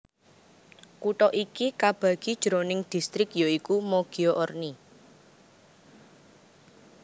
Kutha iki kabagi jroning distrik ya iku Moggio Orni